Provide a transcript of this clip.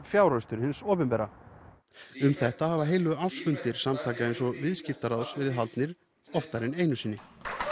fjáraustur hins opinbera um þetta hafa heilu ársfundir samtaka eins og Viðskiptaráðs verið haldnir oftar en einu sinni